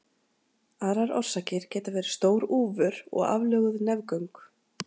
Aðrar orsakir geta verið stór úfur og aflöguð nefgöng.